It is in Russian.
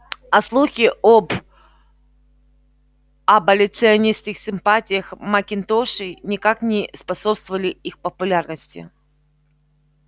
а слухи об аболиционистских симпатиях макинтошей никак не способствовали их популярности